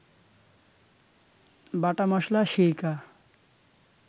বাটা মসলা, সিরকা